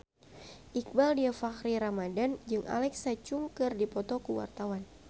Iqbaal Dhiafakhri Ramadhan jeung Alexa Chung keur dipoto ku wartawan